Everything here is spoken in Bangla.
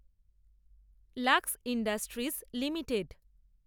lux industries limited